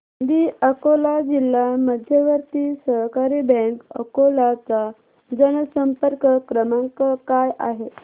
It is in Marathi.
दि अकोला जिल्हा मध्यवर्ती सहकारी बँक अकोला चा जनसंपर्क क्रमांक काय आहे